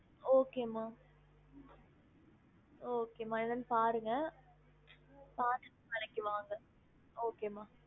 Okay மா okay மா என்னனு பாருங்க பார்த்துட்டு நாளைக்கு வாங்க okay மா